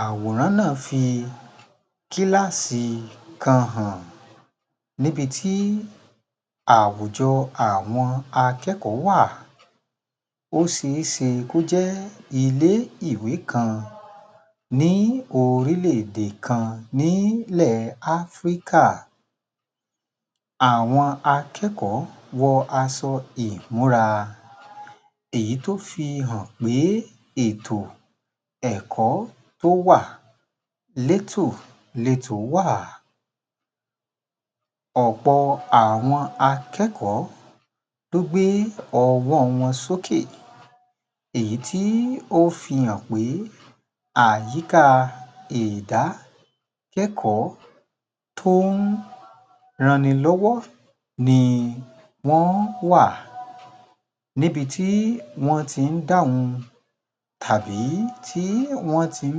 Àwòrán náà fi kíláàsì kan hàn, níbi tí àwùjọ àwọn akẹ́kọ̀ọ́ wà, ó ṣe é ṣe kó jẹ́ ilé-ìwé kan ní orílẹ̀-èdè kan nílẹ̀ Áfríkà, àwọn akẹ́kọ̀ọ́ wọ aṣọ ìmúra, èyí tó fi hàn pé ètò ẹ̀kọ́ tó wà létòletò wà, ọ̀pọ̀ àwọn akẹ́kọ̀ọ́ ló gbé ọwọ́ wọn sókè èyí tí ó fi hàn pé àyìkà ìdákẹ́kọ̀ọ́ tó ń ran ni lọ́wọ́ ni wọ́n wà, níbi tí wọ́n tí ń dáhùn tàbí tí wọ́n ti ń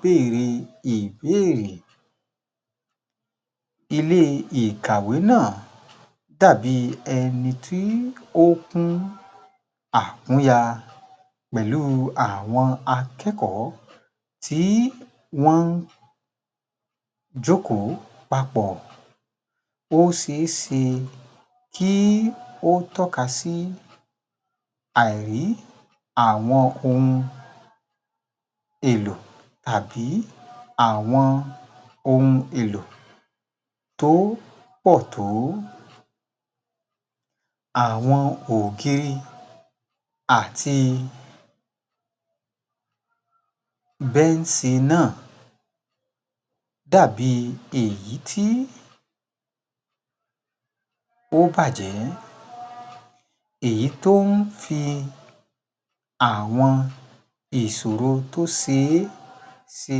béèrè ìbéèrè. Ilé ìkàwé náà dàbí ẹni tí ó kún àkúnya pẹ̀lú àwọn akẹ́kọ̀ọ́ tí wọ́n jókòó papọ̀, ó ṣe é ṣe kí ó tọ́ka sí àìrí àwọn ohun èlò àbí àwọn ohun èlò tó pọ̀ tó. Àwọn òkè àti bẹ́ẹ̀nsì náà dàbí èyí tí ó bàjẹ́, èyí tó ń fi àwọn ìṣòro tó ṣe é ṣe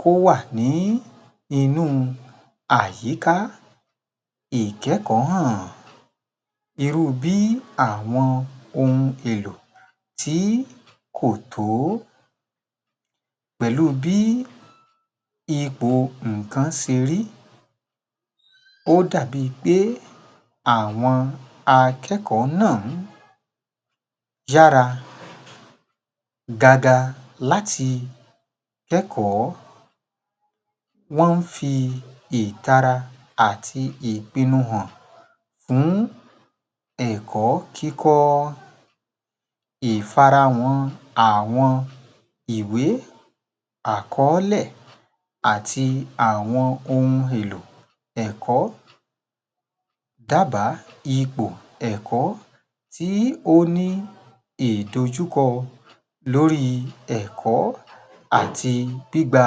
kó wà ní inù àyíká ìkẹ́kọ̀ọ́ hàn, irú bí i àwọn ohun èlò tí kò tó. Pẹ̀lú bí ipọ̀ nǹkan ṣe rí, ó dàbí i pé àwọn akẹ́kọ̀ọ́ yára gágá láti kẹ́kọ̀ọ́, wọ́n ń fi ìtara àti ìpinu hàn fún ẹ̀kọ́ kíkọ́, ìfara wọn àwọn ìwé àkọọ́lẹ̀ àti àwọn ohun èlò ẹ̀kọ́, dábàá ipò ẹ̀kọ́ tí ó ní ìdojúkọ lóri ẹ̀kọ́ àti gbígba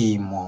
ìmọ̀